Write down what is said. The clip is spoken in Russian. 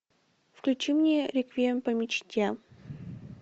включи мне реквием по мечте